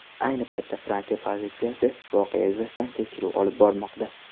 Ayni paytda Fransiya politsiyasi voqea yuzasidan tekshiruv olib bormoqda.